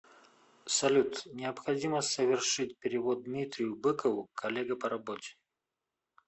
салют необходимо совершить перевод дмитрию быкову коллега по работе